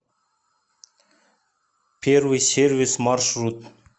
первый сервис маршрут